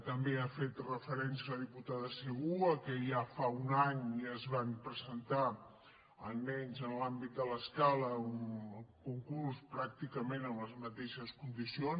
també ha fet referència la diputada segú al fet que ja fa un any es va presentar almenys en l’àmbit de l’escala un concurs pràcticament amb les mateixes condicions